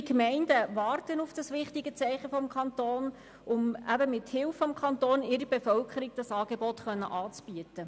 Viele Gemeinden warten auf dieses wichtige Zeichen des Kantons, um mithilfe des Kantons ihrer Bevölkerung dieses Angebot bereitstellen zu können.